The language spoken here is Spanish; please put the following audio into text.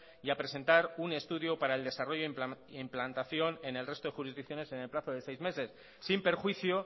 y a presentar un estudio para el desarrollo e implantación en el resto de jurisdicciones en el plazo de seis meses sin perjuicio